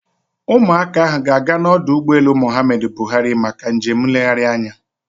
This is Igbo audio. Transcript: Ụmụakwụkwọ ahụ ga-aga n'ọdụ ụgbọelu Muhammadu Buhari maka njem nlegharị anya